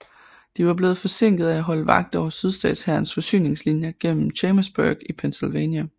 De var blevet forsinket af at holde vagt over Sydstatshærens forsyningslinier gennem Chambersburg i Pennsylvania